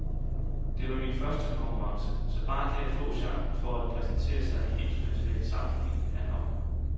Det var min første konkurrence, så bare det at få chancen for at præsentere sig i en international sammenhæng er nok.